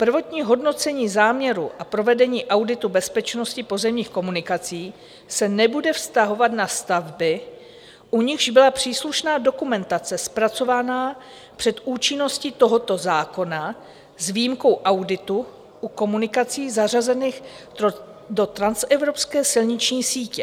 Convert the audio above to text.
Prvotní hodnocení záměru a provedení auditu bezpečnosti pozemních komunikací se nebude vztahovat na stavby, u nichž byla příslušná dokumentace zpracovaná před účinností tohoto zákona, s výjimkou auditu u komunikací zařazených do transevropské silniční sítě.